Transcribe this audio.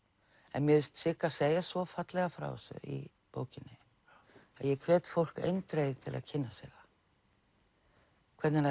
en mér finnst Sigga segja svo fallega frá þessu í bókinni að ég hvet fólk eindregið til að kynna sér það hvernig